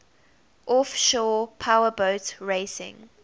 offshore powerboat racing